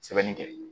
Sɛbɛnni kɛ